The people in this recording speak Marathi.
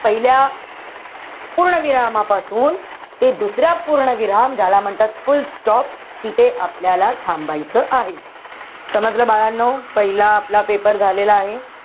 पहिल्या पूर्णविरामापासून ते दुसऱ्या पूर्णविराम ज्याला म्हणतात fullstop. तिथे आपल्याला थांबायचं आहे. समजलं बाळांनो? पहिला आपला paper झालेला आहे.